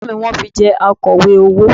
Ẹ̀gbọ́n mi ni wọ́n fi jẹ Akọ̀wé owó